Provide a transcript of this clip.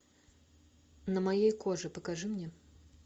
на моей коже покажи мне